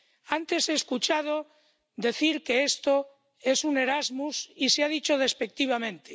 Antes he escuchado decir que esto es un Erasmus, y se ha dicho despectivamente.